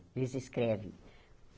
Eles escrevem.